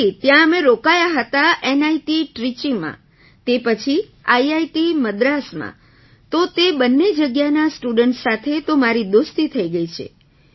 જી ત્યાં અમે રોકાયાં હતાં નિત ટ્રાઇચી માં તે પછી આઇઆઇટી Madrasમાં તો તે બંને જગ્યાના સ્ટુડન્ટ્સ સાથે તો મારી દોસ્તી થઈ ગઈ છે